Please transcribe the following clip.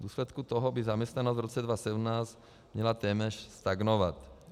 V důsledku toho by zaměstnanost v roce 2017 měla téměř stagnovat.